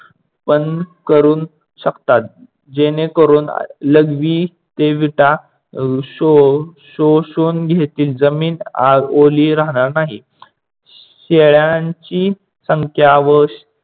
पण करू शकता. जेणेकरून लघवी ते वीटा शोषून घेतील, जमीन ओली राहणार नाही. शेळ्यांची संख्या व